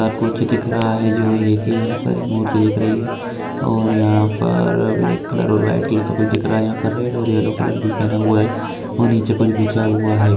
और कुछ दिख रहा है जो एक यहां पर एक मूर्ति दिख रही है और यहां पर ब्लैक कलर और व्हाइट कलर का कुछ दिख रहा है यहां पर रेड और येलो कलर भी पहना हुआ है और निचे कुछ बिछा हुआ है।